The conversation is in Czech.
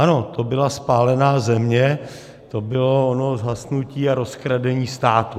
Ano, to byla spálená země, to bylo ono zhasnutí a rozkradení státu.